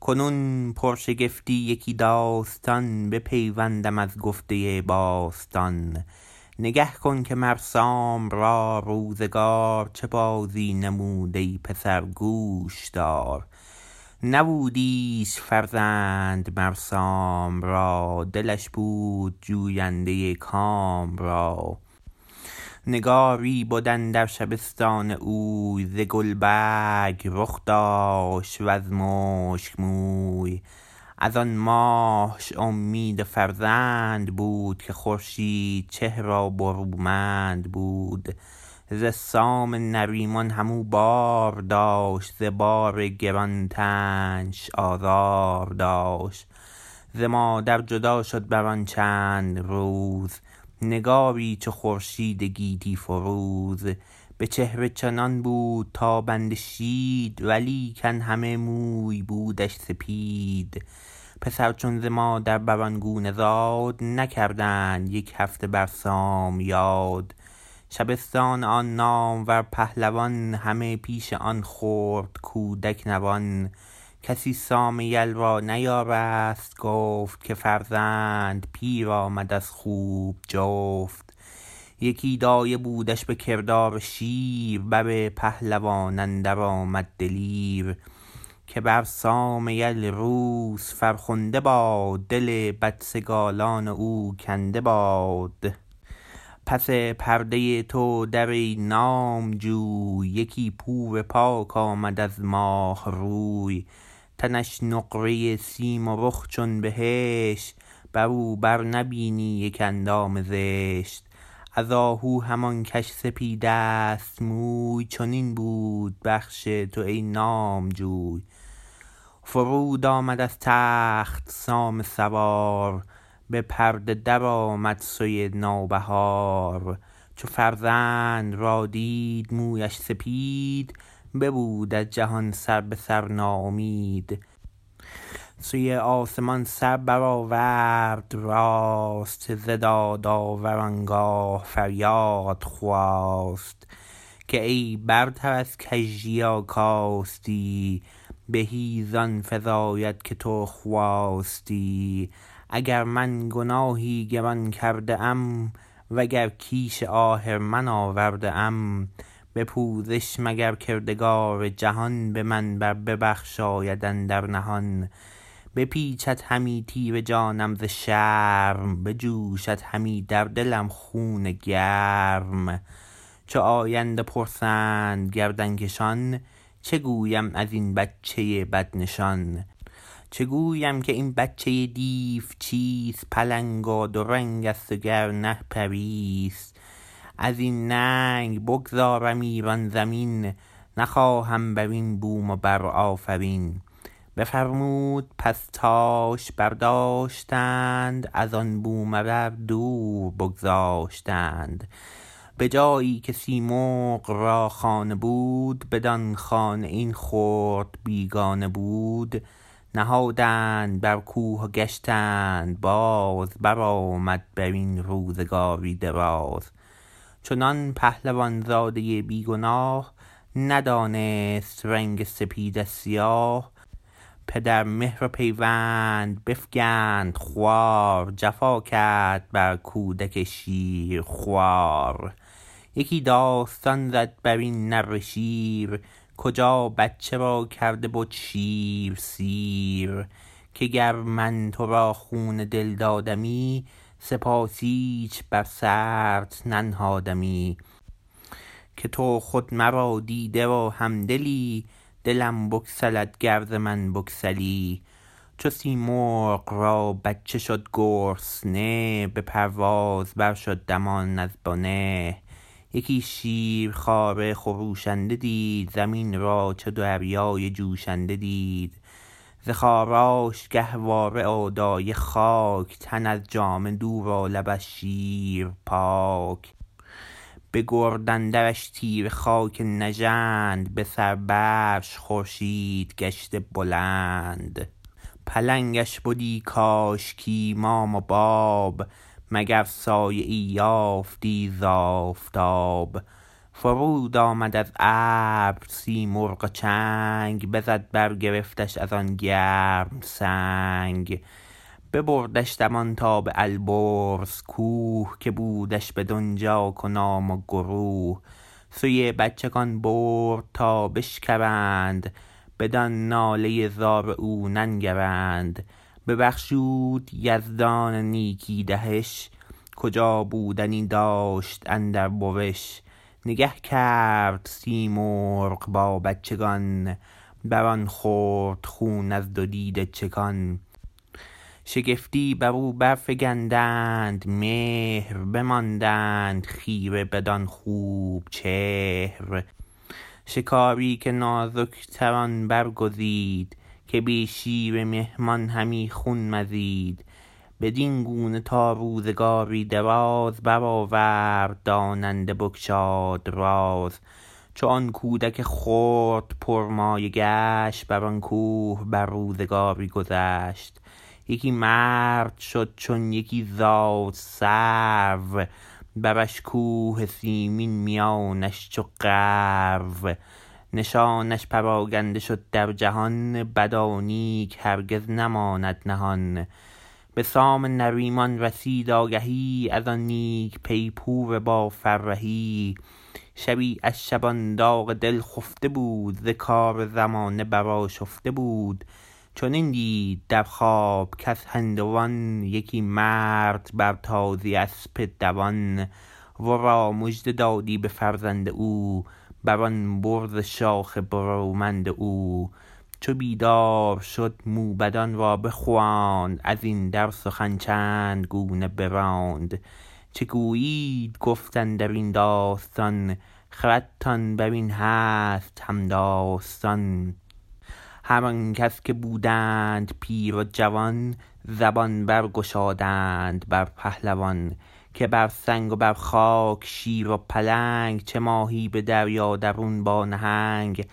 کنون پرشگفتی یکی داستان بپیوندم از گفته باستان نگه کن که مر سام را روزگار چه بازی نمود ای پسر گوش دار نبود ایچ فرزند مر سام را دلش بود جوینده کام را نگاری بد اندر شبستان اوی ز گلبرگ رخ داشت و ز مشک موی از آن ماهش امید فرزند بود که خورشید چهر و برومند بود ز سام نریمان هم او بار داشت ز بار گران تنش آزار داشت ز مادر جدا شد بر آن چند روز نگاری چو خورشید گیتی فروز به چهره چنان بود تابنده شید ولیکن همه موی بودش سپید پسر چون ز مادر بر آن گونه زاد نکردند یک هفته بر سام یاد شبستان آن نامور پهلوان همه پیش آن خرد کودک نوان کسی سام یل را نیارست گفت که فرزند پیر آمد از خوب جفت یکی دایه بودش به کردار شیر بر پهلوان اندر آمد دلیر که بر سام یل روز فرخنده باد دل بدسگالان او کنده باد پس پرده تو در ای نامجوی یکی پور پاک آمد از ماه روی تنش نقره سیم و رخ چون بهشت بر او بر نبینی یک اندام زشت از آهو همان کش سپید است موی چنین بود بخش تو ای نامجوی فرود آمد از تخت سام سوار به پرده درآمد سوی نو بهار چو فرزند را دید مویش سپید ببود از جهان سر به سر ناامید سوی آسمان سر برآورد راست ز دادآور آنگاه فریاد خواست که ای برتر از کژی و کاستی بهی زان فزاید که تو خواستی اگر من گناهی گران کرده ام و گر کیش آهرمن آورده ام به پوزش مگر کردگار جهان به من بر ببخشاید اندر نهان بپیچد همی تیره جانم ز شرم بجوشد همی در دلم خون گرم چو آیند و پرسند گردن کشان چه گویم از این بچه بدنشان چه گویم که این بچه دیو چیست پلنگ و دو رنگ است و گر نه پری ست از این ننگ بگذارم ایران زمین نخواهم بر این بوم و بر آفرین بفرمود پس تاش برداشتند از آن بوم و بر دور بگذاشتند به جایی که سیمرغ را خانه بود بدان خانه این خرد بیگانه بود نهادند بر کوه و گشتند باز برآمد بر این روزگاری دراز چنان پهلوان زاده بی گناه ندانست رنگ سپید از سیاه پدر مهر و پیوند بفگند خوار جفا کرد بر کودک شیرخوار یکی داستان زد بر این نره شیر کجا بچه را کرده بد شیر سیر که گر من تو را خون دل دادمی سپاس ایچ بر سرت ننهادمی که تو خود مرا دیده و هم دلی دلم بگسلد گر ز من بگسلی چو سیمرغ را بچه شد گرسنه به پرواز بر شد دمان از بنه یکی شیرخواره خروشنده دید زمین را چو دریای جوشنده دید ز خاراش گهواره و دایه خاک تن از جامه دور و لب از شیر پاک به گرد اندرش تیره خاک نژند به سر برش خورشید گشته بلند پلنگش بدی کاشکی مام و باب مگر سایه ای یافتی ز آفتاب فرود آمد از ابر سیمرغ و چنگ بزد برگرفتش از آن گرم سنگ ببردش دمان تا به البرز کوه که بودش بدانجا کنام و گروه سوی بچگان برد تا بشکرند بدان ناله زار او ننگرند ببخشود یزدان نیکی دهش کجا بودنی داشت اندر بوش نگه کرد سیمرغ با بچگان بر آن خرد خون از دو دیده چکان شگفتی بر او بر فگندند مهر بماندند خیره بدان خوب چهر شکاری که نازک تر آن برگزید که بی شیر مهمان همی خون مزید بدین گونه تا روزگاری دراز برآورد داننده بگشاد راز چو آن کودک خرد پر مایه گشت بر آن کوه بر روزگاری گذشت یکی مرد شد چون یکی زاد سرو برش کوه سیمین میانش چو غرو نشانش پراگنده شد در جهان بد و نیک هرگز نماند نهان به سام نریمان رسید آگهی از آن نیک پی پور با فرهی شبی از شبان داغ دل خفته بود ز کار زمانه برآشفته بود چنان دید در خواب کز هندوان یکی مرد بر تازی اسپ دوان ورا مژده دادی به فرزند او بر آن برز شاخ برومند او چو بیدار شد موبدان را بخواند از این در سخن چند گونه براند چه گویید گفت اندر این داستان خردتان بر این هست هم داستان هر آنکس که بودند پیر و جوان زبان برگشادند بر پهلوان که بر سنگ و بر خاک شیر و پلنگ چه ماهی به دریا درون با نهنگ